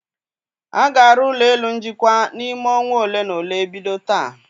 A ga-arụ ụlọ elu njikwa n'ime ọnwa ole na ole bido taa.